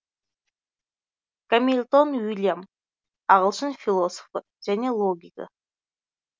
гамильтон уильям ағылшын философы және логигі